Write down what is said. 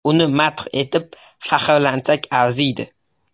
Uni madh etib, faxrlansak arziydi.